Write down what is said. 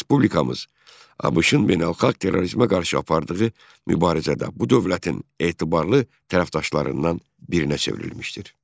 Respublikamız ABŞ-ın beynəlxalq terrorizmə qarşı apardığı mübarizədə bu dövlətin etibarlı tərəfdaşlarından birinə çevrilmişdir.